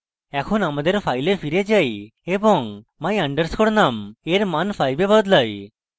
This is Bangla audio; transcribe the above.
এখন আমাদের file file যাই এবং my _ num এর মান 5 এ বদলাই